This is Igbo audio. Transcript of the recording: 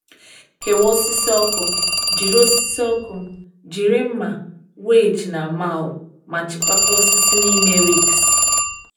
Kewaa osisi ọkụ, jiri osisi ọkụ, jiri mma, wedge, na maul, ma chịkọta osisi n’ime ricks.